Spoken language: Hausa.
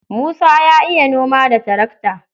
Musa ya iya noma da tarakta.